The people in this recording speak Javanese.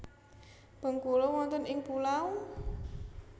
Bengkulu wonten ing pulau?